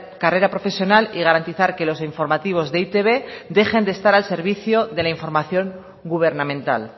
carrera profesional y garantizar que los informativos de e i te be dejen de estar al servicio de la información gubernamental